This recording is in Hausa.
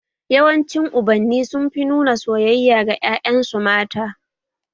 Yawanci Ubanni sun fi nuna soyayya ga ƴaƴan su mata